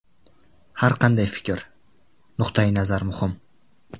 Har qanday fikr, nuqtai nazar muhim.